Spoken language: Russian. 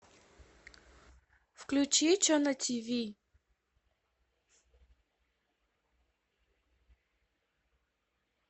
включи че на тиви